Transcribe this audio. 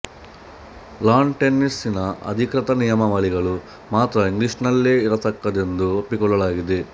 lawn ಟೆನಿಸಿನ ಅಧಿಕೃತ ನಿಯಮಾವಳಿಗಳು ಮಾತ್ರ ಇಂಗ್ಲಿಷಿನಲ್ಲೇ ಇರತಕ್ಕದ್ದೆಂದು ಒಪ್ಪಿಕೊಳ್ಳಲಾಗಿದೆ